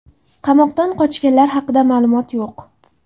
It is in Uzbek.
Qamoqdan qochganlar haqida ma’lumotlar yo‘q.